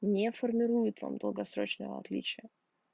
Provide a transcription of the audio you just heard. не формируют вам долгосрочного отличия